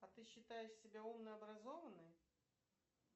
а ты считаешь себя умной образованной